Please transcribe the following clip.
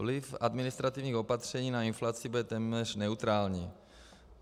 Vliv administrativních opatření na inflaci bude téměř neutrální.